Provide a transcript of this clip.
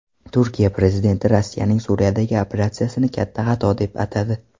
Turkiya prezidenti Rossiyaning Suriyadagi operatsiyasini katta xato deb atadi.